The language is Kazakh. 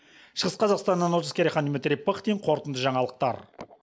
шығыс қазақстаннан олжас керейхан дмитрий пыхтин қорытынды жаңалықтар